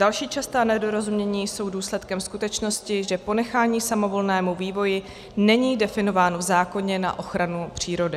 Další častá nedorozumění jsou důsledkem skutečnosti, že ponechání samovolnému vývoji není definováno v zákoně na ochranu přírody.